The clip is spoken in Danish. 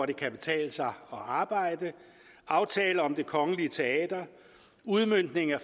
det kan betale sig at arbejde en aftale om det kongelige teater en udmøntning af